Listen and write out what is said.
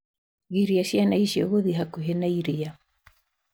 Giria ciana icio gũthĩĩ hakuhĩ na iria